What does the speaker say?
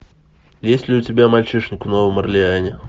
есть ли у тебя мальчишник в новом орлеане